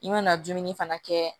I mana dumuni fana kɛ